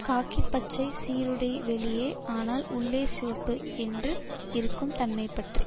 காக்கி பச்சை சீருடை வெளியே ஆனால் உள்ளே சிவப்பு என்று இருக்கும் தன்மை பற்றி